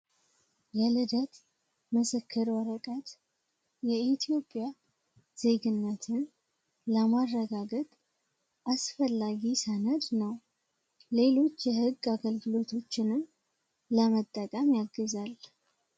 የልደት የምስክር ወረቀት የኢትዮጵያ ዜግነትን ለማረጋገጥ አስፈላጊ ሰነድ ነው ሌሎች የህግ አገልግሎቶችን ለመጠቀም ያግዛል።